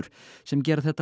sem gera þetta